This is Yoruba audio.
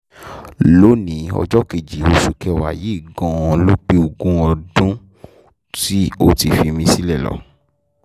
lónì-ín ọjọ́ kejì oṣù kẹwàá yìí gan-an ló pé ogún ọdún tí ó ti fi mí sílẹ̀ lọ